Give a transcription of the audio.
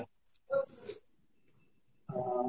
ହଁ